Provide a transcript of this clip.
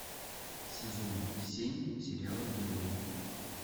сезон семь сериала герои